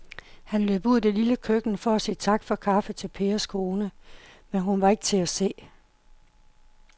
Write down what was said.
Han løb ud i det lille køkken for at sige tak for kaffe til Pers kone, men hun var ikke til at se.